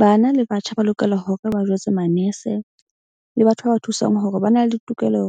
Bana le batjha ba lokela hore ba jwetse manese le batho ba ba thusang hore ba na le tokelo